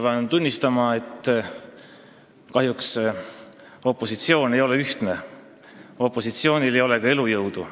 Pean tunnistama, et kahjuks opositsioon ei ole ühtne, opositsioonil ei ole ka elujõudu.